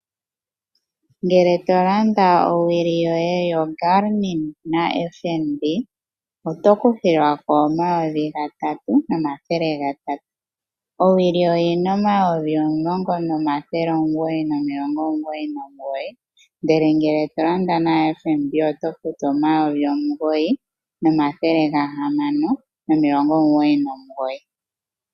Ngele to landa owili yoye yoGermin naFNB oto kuthilwa ko omayovi gatatu nomathele gatatu. Owili oyi na N$ 10 999, ndele ngele to landa naFNB oto futu N$ 9 699.